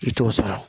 I t'o sara